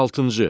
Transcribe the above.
Altıncı.